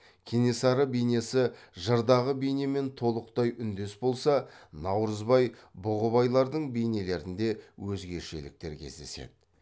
кенесары бейнесі жырдағы бейнемен толықтай үндес болса наурызбай бұғыбайлардың бейнелерінде өзгешеліктер кездеседі